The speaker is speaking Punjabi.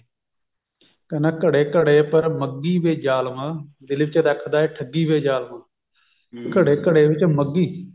ਕਹਿੰਦਾ ਘੜਾ ਘੜੇ ਉੱਪਰ ਮੱਘੀ ਵੇ ਜਾਲਮਾ ਦਿਲ ਵਿੱਚ ਰੱਖਦਾ ਏ ਠੱਗੀ ਵੇ ਜਾਲਮਾ ਘੜਾ ਘੜੇ ਵਿੱਚ ਮੱਘੀ